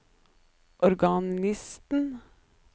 organisten